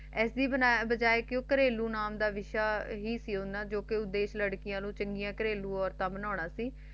ਇਸ ਦੀ ਬਜਾਏ ਘਰੇਲੂ ਨਾਮ ਦਾ ਜੋ ਕ ਲੜਕੀਆਂ ਨੂੰ ਚੰਗੀਆਂ ਘਰੇਲੂ ਔਰਤਾਂ ਬਨਾਨਾ ਸੀ